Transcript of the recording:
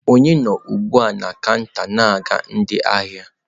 Onye nọ ugbu a na kanta na-aga ndị ahịa?